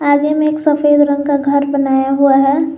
आगे में एक सफेद रंग का घर बनाया हुआ है।